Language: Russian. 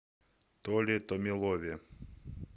толе томилове